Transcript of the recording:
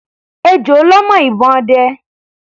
Ejò lọ́ mọ́ ìbọn ọdẹ.